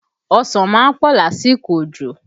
Ọsàn má ń pọ̀ lásìkò òjò